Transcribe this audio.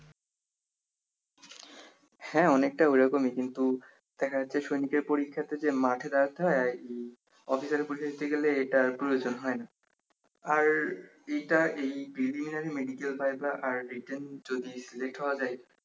হ্যা অনেক টা ওরকমই কিন্তু দেখা যাচ্ছে সৈনিকের পরীক্ষাতে যে মাঠে দাড়াতে হয় আরকি অফিসারের পরীক্ষা দিতে গেলে এইটার প্রয়োজন হয় না আর এইটা এই preliminary medical আর রিটেন যদি late হওয়া যায়